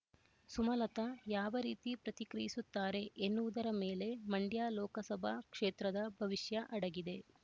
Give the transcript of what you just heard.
ಸುಮಲತಾ ಯಾವ ರೀತಿ ಪ್ರತಿಕ್ರಿಯಿಸುತ್ತಾರೆ ಎನ್ನುವುದರ ಮೇಲೆ ಮಂಡ್ಯ ಲೋಕಸಭಾ ಕ್ಷೇತ್ರದ ಭವಿಷ್ಯ ಅಡಗಿದೆ